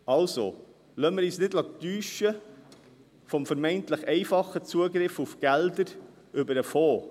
Also: Lassen wir uns nicht täuschen vom vermeintlich einfachen Zugriff auf Gelder über den Fonds.